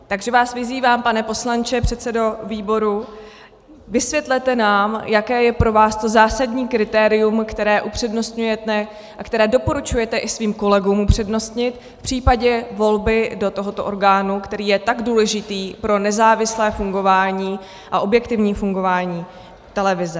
Takže vás vyzývám, pane poslanče, předsedo výboru, vysvětlete nám, jaké je pro vás to zásadní kritérium, které upřednostňujete a které doporučujete i svým kolegům přednostně v případě volby do tohoto orgánu, který je tak důležitý pro nezávislé fungování a objektivní fungování televize.